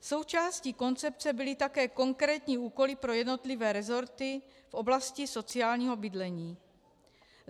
Součástí koncepce byly také konkrétní úkoly pro jednotlivé resorty v oblasti sociálního bydlení.